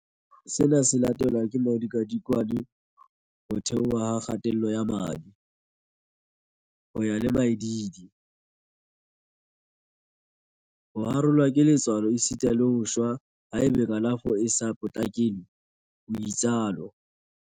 Sena se latelwa ke modikadikwane, ho theoha ha kgatello ya madi, ho ya le maidiidi, ho harolwa ke letswalo esita le ho shwa haeba kalafo e sa potlakelwe, o itsalo.